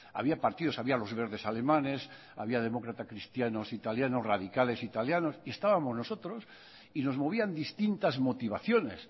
había partidos había los verdes alemanes había demócratas cristianos italianos radicales y estábamos nosotros y nos movían distintas motivaciones